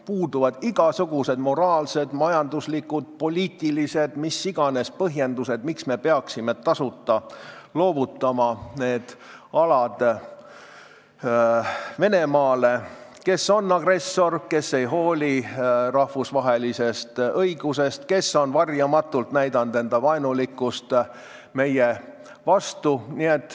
Puuduvad igasugused moraalsed, majanduslikud, poliitilised või mis iganes põhjendused, miks me peaksime need alad tasuta loovutama Venemaale, kes on agressor, kes ei hooli rahvusvahelisest õigusest ja kes on varjamatult näidanud vaenulikkust meie vastu.